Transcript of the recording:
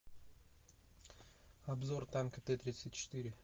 обзор танка тэ тридцать четыре